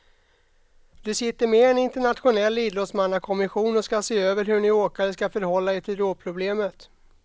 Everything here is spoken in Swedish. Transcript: Du sitter med i en internationell idrottsmannakommission som ska se över hur ni åkare ska förhålla er till drogproblemet.